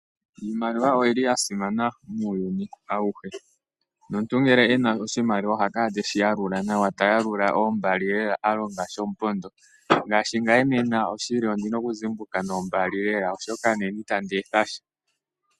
Iimaliwa oya simana muuyuni auhe. Omuntu ngele e na oshimaliwa oha kala teshi yalula nawa, a longa shomupondo. Ngame nena ondi na okuzimbuka niimaliwa lela, oshoka itandi etha sha.